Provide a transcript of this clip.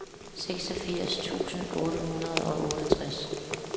seksogfirs tusind otte hundrede og otteogtres